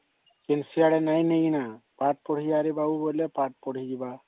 କେଁ ସିଆଡେ ନେଇ ଗଲେ ନ ପାଠ ପଢି ଯିବା ରେ ବାବୁ ପାଠ ପଢି ଯିବା